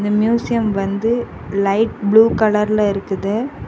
இந்த மியூசியம் வந்து light blue கலர்ல இருக்குது.